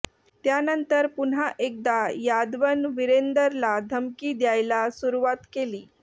त्यानंतर पुन्हा एकदा यादवनं विरेंदरला धमकी द्यायला सुरुवात केली